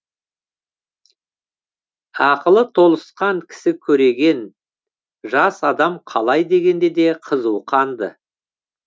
ақылы толысқан кісі көреген жас адам қалай дегенде де қызу қанды